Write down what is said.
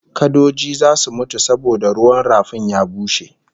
Kadoji zasu mutu saboda ruwan rafin ya bushe